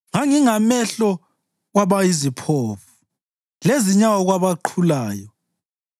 Ngangingamehlo kwabayiziphofu lezinyawo kwabaqhulayo.